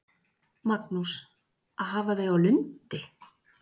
Magnús: Að hafa þau á Lundi?